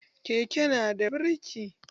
Keke nada birki.